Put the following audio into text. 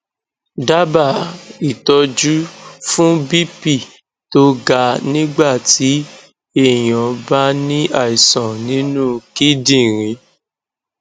daba itoju fun bp to ga nigba ti eyan ba ni aisan ninu kindinriń